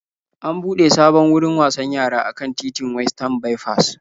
An buɗe sabon wurin wasan yara a kan titin Westan Baifas.